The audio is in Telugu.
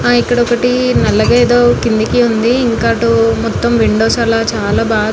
హా ఇక్కడ ఒకటి నల్లగా ఏదో కిందకి ఉంది ఇంకా అటు మొత్తం విండోస్ అలా చాలా--.